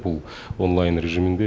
бұл онлайн режимінде